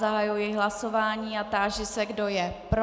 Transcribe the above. Zahajuji hlasování a táži se, kdo je pro.